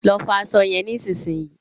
Lọ fọ aṣọ yẹn nísinsìnyí